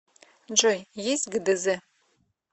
джой есть гдз